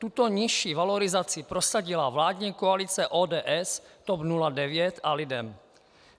Tuto nižší valorizaci prosadila vládní koalice ODS, TOP 09 a LIDEM.